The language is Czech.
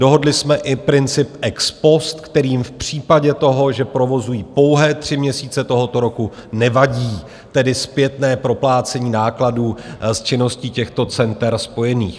Dohodli jsme i princip ex post, kterým v případě toho, že provozují pouhé tři měsíce tohoto roku, nevadí tedy zpětné proplácení nákladů s činností těchto center spojených.